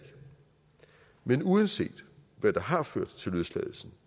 men uanset hvad der har ført til løsladelsen